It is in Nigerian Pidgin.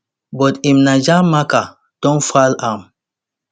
but im niger marker don foul am